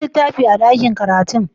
An ga littafin a ɗakin karatu?